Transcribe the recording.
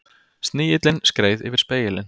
Snigillinn skreið yfir spegilinn.